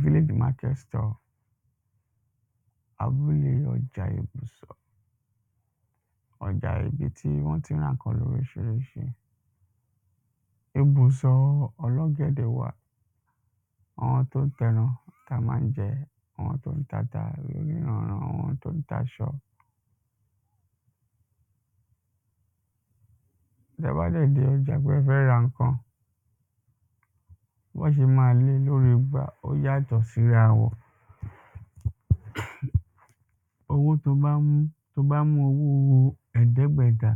víllágé márkẹ́t stáll abúlé ọjá ibùsọ̀ ọjá ibi tí wọ́n ti ń rà ǹkan lóríṣiríṣi. ibùsọ̀ ọlọ́gẹ̀dẹ̀ wà, àwọn tó ń tẹran táa máa ń jẹ, àwọn tó ń tata oníranànran, àwọn tó ń aṣọ tẹ́ ẹ bá dẹ̀ dé ọjá pé ẹ fẹ́ ra ǹkan, bọ́n ṣe máa lée lórí igbá, ó yà tọ́ sí rawọn. owó tóo bá mú, tó bá mú owó ẹ̀ẹ́dẹ́gbẹ̀da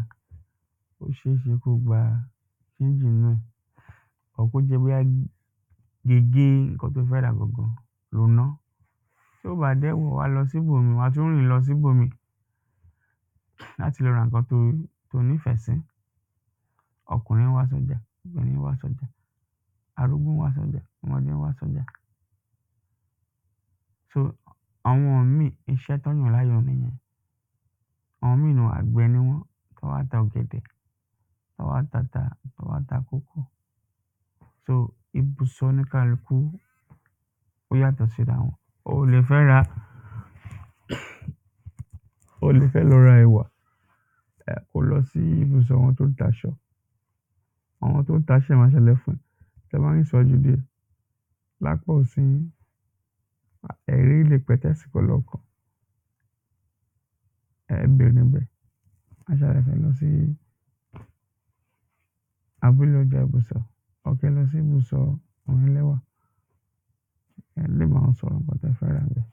ó ṣeéṣe kóo gba ṣénjì nínú ẹ̀. ọ̀ọ́ kó jẹ́ bóyá gégé ǹkan tóo fẹ́ rà gangan lo ná, tí ó bá dẹ̀ wọ̀, wàá lọ síbò míì wàá tún rì lọ síbò míì láti lọ ra ǹkan tóo tóo nífẹ̀sí. ọkùnrin ń wá sọ́jà, obìnrin ń wá sọ́jà, arúgbó ń wá sọ́jà, ọmọdé ń wá sọ́jà ṣó, àwọn míì, iṣẹ́ tọ́n yàn láyàn nìyẹn àwọn imíì àgbẹ̀ ni wọ́n, tọ́n wá ta ọgẹ̀dẹ̀, tọ́n wá tata, tọ́n wá ta kòkó sóòó ibùsọ̀ oníkálukú, ó yátọ̀ sí rawọn oò lè fẹ́ ra, oò lè fẹ́ lọ ra ẹwà, kóo lọ sí ibùsọ̀ àwọn tó ń taṣọ àwọn tó ń taṣọ yẹn wáá ṣalàyé fún ẹ, tẹ́ ẹ bá rìn síwájú díẹ̀, lápá osì yín, ẹ̀ẹ́ rí ilé pẹ̀tẹ́sì kan lọ́ọ̀kán ẹ berè ńbẹ̀, wáá ṣàlàyé fún ẹ, lọ sí abúlé ọjá ibùsọ̀ ọ̀ọ́ kẹ́ ẹ lọ sí ibùsọ̀ àwọn ẹlẹ́wà ẹ̀ẹ́ lè báwọn sọ ǹkan tẹ́ẹ fẹ́ rà ńbẹ̀